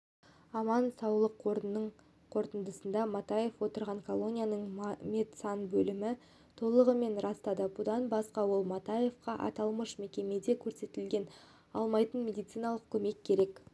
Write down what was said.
аман саулық қорының қорытындысын матаев отырған колонияның медсанбөлімі толығымен растады бұдан басқа ол матаевқа аталмыш мекемеде көрсетіле алмайтын медициналық көмек керек